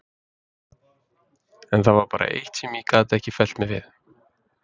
En það var bara eitt sem ég gat ekki fellt mig við.